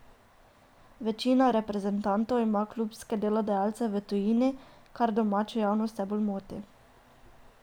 Večina reprezentantov ima klubske delodajalce v tujini, kar domačo javnost vse bolj moti.